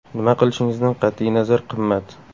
Nima qilishingizdan qat’iy nazar qimmat.